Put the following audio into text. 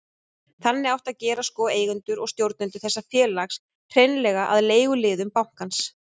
Þannig átti að gera sko, eigendur og stjórnendur þessa félags, hreinlega að leiguliðum bankans.